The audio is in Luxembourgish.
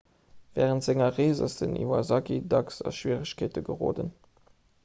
wärend senger rees ass den iwasaki dacks a schwieregkeete geroden